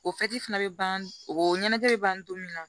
O fana bɛ ban o ɲɛnajɛ bɛ ban don min na